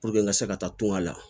Puruke n ka se ka taa tunga la